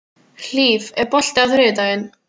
Hlíf, er bolti á þriðjudaginn?